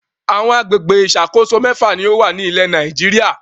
Àwọn àgbègbè ìṣàkóso mẹ́fà ni ó wà ní ilẹ̀ Nàìjíríà.